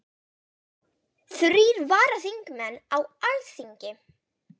Flug fugla kostar þá mikla orku, miklu meiri en flestar aðrar hreyfingar dýra.